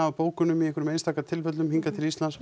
af bókunum í einhverjum einstaka tilfellum hingað til Íslands